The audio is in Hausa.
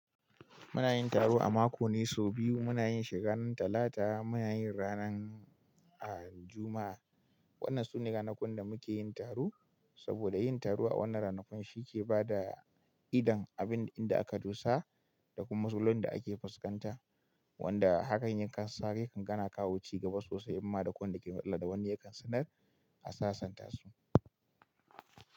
Muna yin taro a mako ne sau biyu. Muna yin shi ran Talata, muna yin ranar, ah, Juma'a. Wanann su ne ranakun da muke yin taro saboda yin taro a wannan ranakun shi ke ba da idon abin da aka doshi da kuma matsalolin da ake fuskanta, wanda hakan yin kasashe kan gana kawo ci gaba sosai, amma da kwai wanda ke matsala da wani yakan sanar a sasanta su.